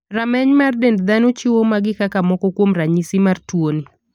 Rameny mar dend dhano chiwo magi kaka moko kuom ranyisi mar tuoni.